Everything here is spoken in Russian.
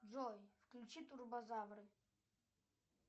джой включи турбозавры